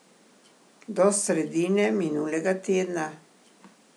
Do sredine minulega tedna.